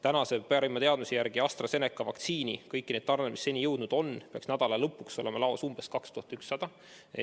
Tänase parima teadmise järgi peaks AstraZeneca vaktsiini, arvestades kõiki neid tarneid, mis seni kohale on jõudnud, nädala lõpuks olema laos umbes 2100 doosi.